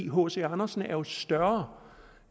hc andersen er jo større